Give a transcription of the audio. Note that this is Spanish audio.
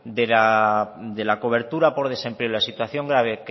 de la cobertura por desempleo y la situación grave